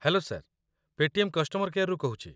Hello sir, Paytm customer କେୟାର୍‌ରୁ କହୁଛି ।